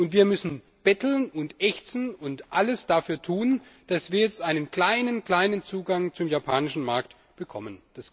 Und wir müssen betteln und ächzen und alles dafür tun, dass wir jetzt einen ganz kleinen Zugang zum japanischen Markt bekommen.